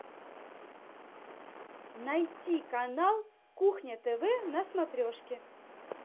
найти канал кухня тв на смотрешке